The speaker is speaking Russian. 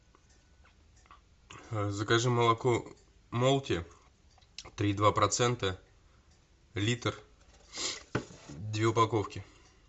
закажи молоко молти три и два процента литр две упаковки